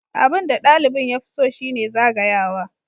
Abin da ɗalibin ya fi so shi ne zagayawa.